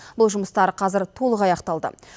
бұл жұмыстар қазір толық аяқталды